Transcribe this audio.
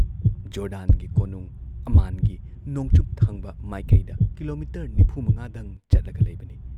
ꯖꯣꯔꯗꯥꯟꯒꯤ ꯀꯣꯅꯨꯨꯡ ꯑꯃꯥꯟꯒꯤ ꯅꯣꯡꯆꯨꯞ ꯊꯪꯕ ꯃꯥꯏꯀꯩꯗ ꯀꯤꯂꯣꯃꯤꯇꯔ ꯅꯤꯐꯨꯃꯉꯥꯗꯪ ꯆꯠꯂꯒ ꯂꯩꯕꯅꯤ ꯫